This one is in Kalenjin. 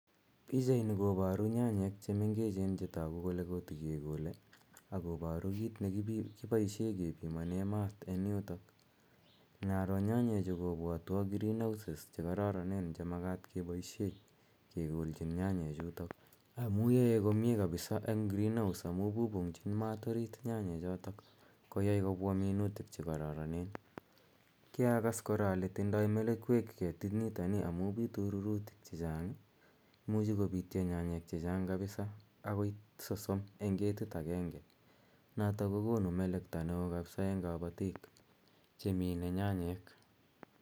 Pichani koparu nyanyek che mengechen che tagu kole kotikekole ako paru kiit ne kipoishe kepinanen maat eng' yutok. Inaro nyanyechu kopwatwa greenhouses che kararan che makat kepoishe kekolchin amu yae komye kapsa eng' greenhouse amu pupung'chin mat orit nyanyechotok koyai kopwa minutik che kararanen. Kiakas kora ale tindai melekwek ketinitani amu pitu rurutik che chang', imuchi koiptya nyanyek che chang' kapsa, akoi sosom eng' ketit agenge notok ko konu melekto ne oo kapisa eng' kapatik che mine nyanyek.